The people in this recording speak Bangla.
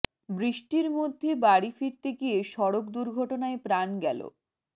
বৃষ্টির মধ্যে বাড়ি ফিরতে গিয়ে সড়ক দুর্ঘটনায় প্রাণ গেলো